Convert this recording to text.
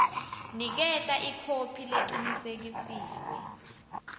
niketa ikhophi lecinisekisiwe